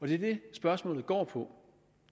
det er det spørgsmålet går på